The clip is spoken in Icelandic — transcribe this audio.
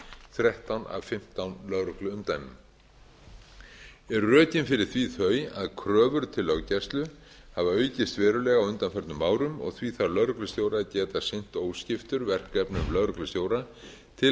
þrettán af fimmtán lögregluumdæmum eru rökin fyrir því þau að kröfur til löggæslu hafa aukist verulega á undanförnum árum og því þarf lögreglustjóri að geta sinnt óskiptur verkefnum lögreglustjóra til